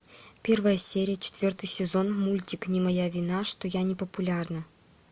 первая серия четвертый сезон мультик не моя вина что я не популярна